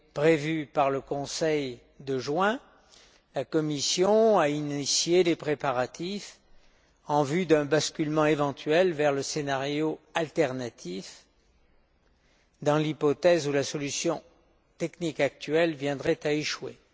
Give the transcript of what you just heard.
prévu par le Conseil de juin, la Commission a initié les préparatifs en vue d'un basculement éventuel vers le scénario alternatif dans l'hypothèse où la solution technique actuelle viendrait à échouer.